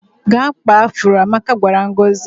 "Gaa kpaa afụro," Amaka gwara Ngozi.